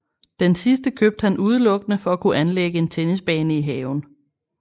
Den sidste købte han udelukkende for at kunne anlægge en tennisbane i haven